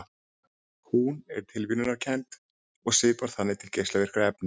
Hún er tilviljunarkennd og svipar þannig til geislavirkni efna.